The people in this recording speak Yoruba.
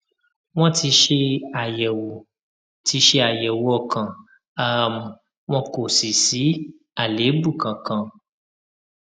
wọn ti ṣe àyẹwò ti ṣe àyẹwò ọkàn um wọn kò sì sí àléébù kankan